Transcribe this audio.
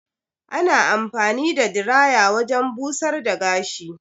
Ana anfani da diraya wajen busar da gashi.